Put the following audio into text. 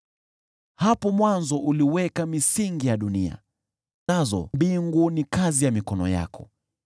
Hapo mwanzo uliweka misingi ya dunia, nazo mbingu ni kazi ya mikono yako.